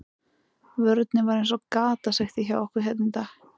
Vörnin var eins og gatasigti hjá okkur hérna í dag.